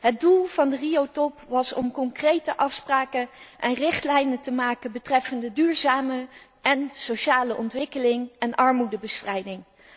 Het doel van de Rio top was om concrete afspraken en richtlijnen te maken betreffende duurzame en sociale ontwikkeling en armoedebestrijding.